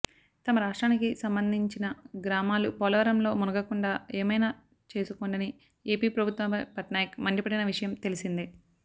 తమ రాష్ట్రానికి సంబంధించిన గ్రామాలు పోలవరంలో మునగకుండా ఏమైనా చేసుకోండని ఎపి ప్రభుత్వంపై పట్నాయక్ మండిపడిన విషయం తెలిసిందే